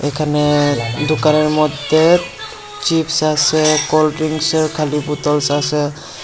এখানে দোকানের মধ্যে চিপস আছে কোল্ড ড্রিংসের খালি বোতলস আসে।